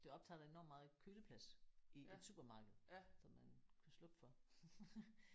Det optager da enormt meget køleplads i et supermarked som man kunne slukke for